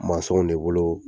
Mansɔnw de bolo